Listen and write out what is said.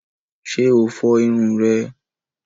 Ṣe o fo irun rẹ?